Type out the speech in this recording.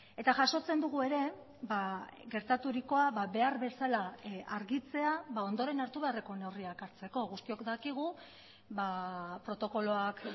eta jasotzen dugu ere gertaturikoa behar bezala argitzea ondoren hartu beharreko neurriak hartzeko guztiok dakigu protokoloak